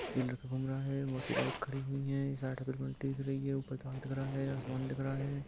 ये लड़का घूम रहा है बाइक खड़ी हुई है ऊपर ताड़ रहा है आसमान देख है।